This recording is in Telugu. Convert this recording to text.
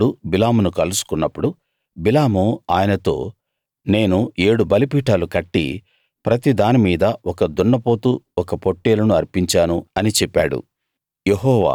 దేవుడు బిలామును కలుసుకున్నప్పుడు బిలాము ఆయనతో నేను ఏడు బలిపీఠాలు కట్టి ప్రతి దాని మీద ఒక దున్నపోతు ఒక పొట్టేలును అర్పించాను అని చెప్పాడు